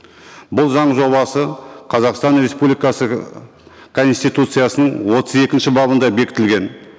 бұл заң жобасы қазақстан республикасы ыыы конституциясының отыз екінші бабында бекітілген